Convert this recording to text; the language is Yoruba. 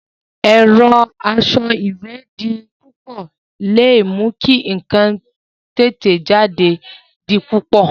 Ẹ̀rọ asọ ìwé di púpọ̀ le mú kí ǹkan títẹ̀ jáde di púpọ̀